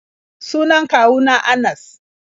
Sunan kwawu na Anas.